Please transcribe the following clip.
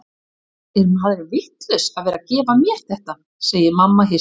Er maðurinn vitlaus að vera að gefa mér þetta, segir mamma hissa.